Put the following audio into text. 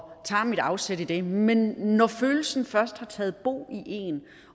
tager mit afsæt i det men når følelsen først har taget bo i en